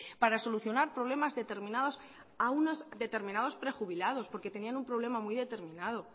para solucionar problemas determinados a unos determinados prejubilados porque tenían un problema muy determinado